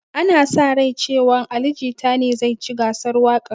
Ana sa rai cewan ali jita ne zai ci gasar waƙan